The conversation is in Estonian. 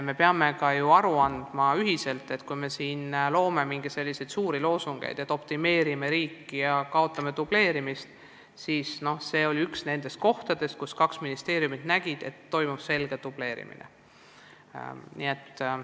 Me peame kõik endale aru andma, et kui me oleme püstitanud suuri loosungeid, et me optimeerime riiki ja kaotame dubleerimist, siis see on olnud üks valdkondi, kus kaks ministeeriumit nägid, et toimub selge dubleerimine.